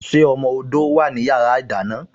Ṣé ọmọ odó wá ní yàrá ìdáná?